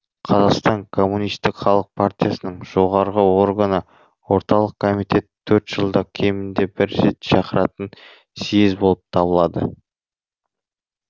қазақстан коммунистік халық партиясының жоғары органы орталық комитет төрт жылда кемінде бір рет шақыратын съезд болып табылады